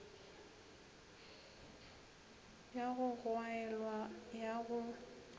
ya go gwaelwa ya go